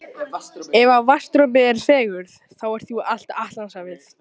Skjálftinn ágerðist og ég réð ekkert við hann.